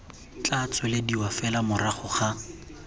tla tswelediwa fela morago ga